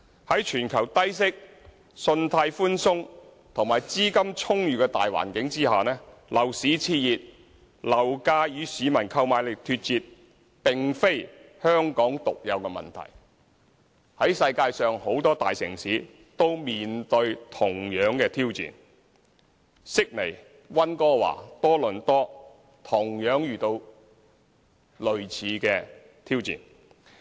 在全球低息、信貸寬鬆及資金充裕的大環境下，樓市熾熱，樓價與市民購買力脫節，並非香港獨有的問題，世界上許多大城市，例如悉尼、溫哥華和多倫多，都面對同樣的挑戰。